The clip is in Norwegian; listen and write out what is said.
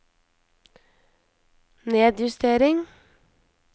nedjustering